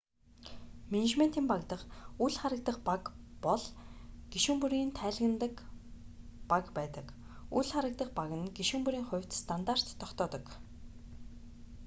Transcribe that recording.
менежментийн баг дахь үл харагдах баг бол гишүүн бүрийн тайлагнадаг баг байдаг үл харагдах баг нь гишүүн бүрийн хувьд стандарт тогтоодог